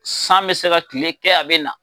San bɛ se ka kile kɛ a bɛ na.